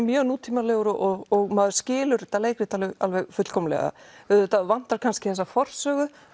mjög nútímalegur og maður skilur þetta leikrit alveg alveg fullkomnlega auðvitað vantar kannski þessa forsögu